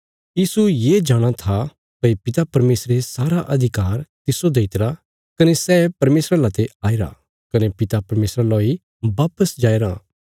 यीशु ये जाणा था भई पिता परमेशरे सारा अधिकार तिस्सो दई तरा कने सै परमेशरा लाते आईरा कने पिता परमेशरा लौ इ वापस जाईराँ